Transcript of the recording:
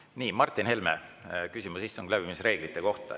Nii, Martin Helme, küsimus istungi läbiviimise reeglite kohta.